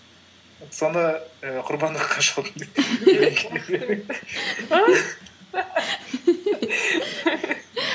соны і құрбандыққа шалдым